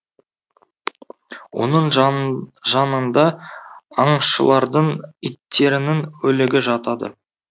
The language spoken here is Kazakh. оның жанында аңшылардың иттерінің өлігі жатады